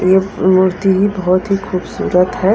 मूर्ति ही बहुत ही खूबसूरत है।